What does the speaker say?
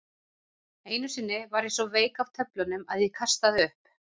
Einu sinni varð ég svo veik af töflunum að ég kastaði upp.